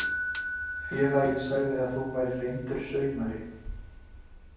Félagið sagði að þú værir reyndur saumari.